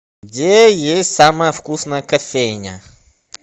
где есть самая вкусная кофейня